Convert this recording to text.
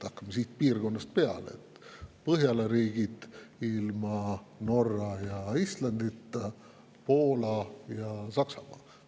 Hakkame siit piirkonnast peale: Põhjala riigid ilma Norra ja Islandita, Poola ja Saksamaa.